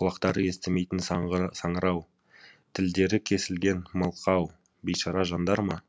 құлақтары естімейтін саңырау тілдері кесілген мылқау бейшара жандар ма